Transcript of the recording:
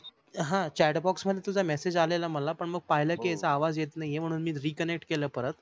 ह chat box मध्ये तुझा message आलेला मला मग पाहील कि यचा आवाज नाही येत आहे म्हणून reconnect केल परत.